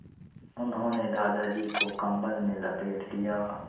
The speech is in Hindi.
उन्होंने दादाजी को कम्बल में लपेट दिया